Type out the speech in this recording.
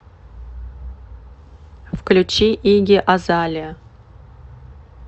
включи игги азалеа